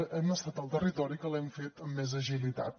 hem estat el territori que l’hem fet amb més agilitat